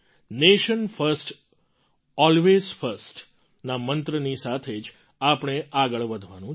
nation first always first ના મંત્રની સાથે જ આપણે આગળ વધવાનું છે